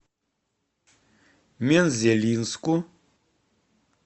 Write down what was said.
мензелинску